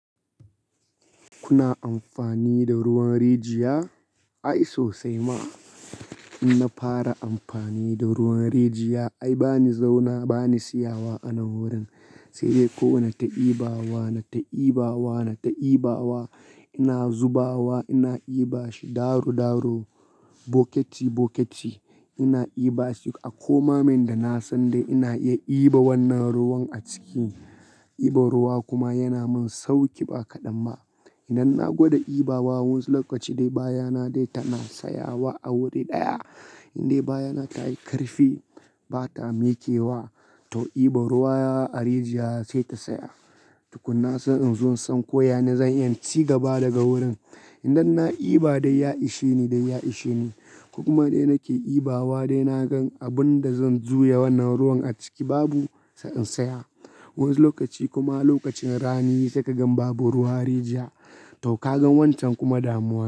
Kuna amfani da ruwan rijiya? Ai sosai ma. In na fara amfani da ruwan rijiya ai bani zauna bani siyawa a nan wurin, sai dai kowane ta ibawa, na ta ibawa, na ta ibawa. Ina zubawa, ina diban shi daro daro, bokiti bokiti ina diban shi. A komamen da na san dai ina iya diban wannan ruwan a ciki. Diban ruwa kuma yana min sauƙi ba kaɗan ma. Idan na gwada diban wa wasu lokaci dai baya na dai tana siyawa a wuri ɗaya, in dai baya na ta yi ƙarfi ba ta mikewa to diban ruwa a rijiya sai ta saya. Tu kunna sai in zo in san ko yane zan iya ci gaba daga wurin. Idan na diba dai ya ishe ni dai ya ishe ni. Kokuma dai nake dibawa dai na gan abun da zan juya wannan ruwan a ciki babu sai in saya. Wasu lokaci kuma lokacin rani sai ka gan babu ruwa rijiya, to ka gan wancan kuma damuwa.